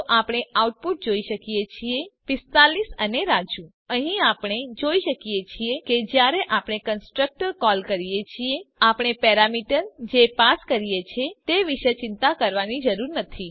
તો આપણે આઉટપુટ જોઈ શકીએ છીએ 45 અને રાજુ તો અહીં આપણે જોઈ શકીએ છીએ કે જયારે આપણે કન્સ્ટ્રક્ટર કોલ કરીએ છીએ આપણે પેરામીટર જે પાસ કરીએ છીએ તે વિશે ચિંતા કરવાની જરૂર નથી